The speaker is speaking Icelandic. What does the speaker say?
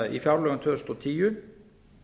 í fjárlögum tvö þúsund og tíu